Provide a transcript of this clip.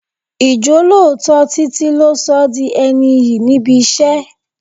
Ijolooto Títí lo sọ di ẹni iyì níbi iṣẹ́.